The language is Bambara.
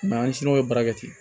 an siw ye baara kɛ ten